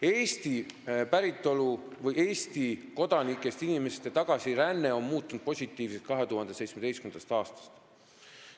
Eesti päritolu või Eesti kodanikest inimeste tagasiränne on muutunud positiivseks 2017. aastast.